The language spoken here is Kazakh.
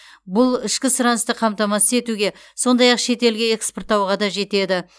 бұл ішкі сұранысты қамтамасыз етуге сондай ақ шетелге экспорттауға да жетеді